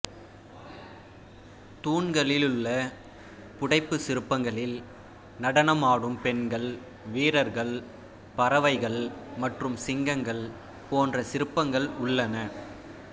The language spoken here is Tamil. தூண்களிலுள்ள புடைப்புச் சிற்பங்களில் நடனமாடும் பெண்கள் வீரர்கள் பறவைகள் மற்றும் சிங்கங்கள் போன்ற சிற்பங்கள் உள்ளன